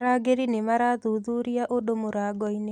arangĩri nĩmarathuthuria andũ mũrangoinĩ